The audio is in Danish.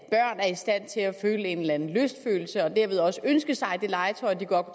have en eller anden lystfølelse og derved også ønske sig det legetøj de godt